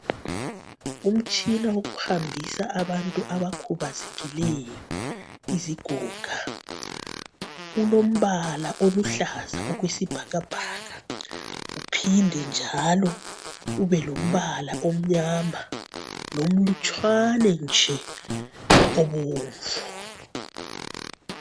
Umtshina wokuhambisa abantu abakhubazekileyo, izigoga. Ulombala oluhlaza okwesibhakabhaka uphinde njalo ubelombala omnyama lomlutshwana nje obomvu.